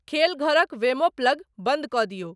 खेल घरक वेमो प्लग बंद कए दियौ ।